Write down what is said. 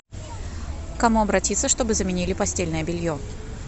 к кому обратиться чтобы заменили постельное белье